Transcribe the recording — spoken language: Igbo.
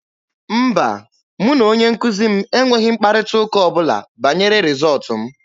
Mba, mụ na onye nkuzi m enweghị mkparịta ụka ọ bụla banyere rịzọọtụ m.